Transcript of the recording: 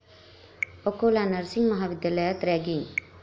Akola nursing महाविद्यालयात ragging